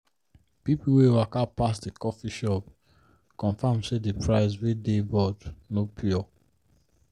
people wey waka pass the coffee shop confirm say the price wey dey board no pure.